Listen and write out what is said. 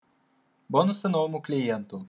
бонусы новому клиенту